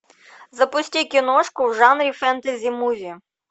запусти киношку в жанре фэнтези муви